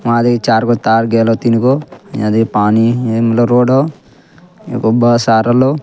वहाँ देखी चारगो तार गेलो तीनगो यदि पानी रोड हो एगो बस आ रहलो।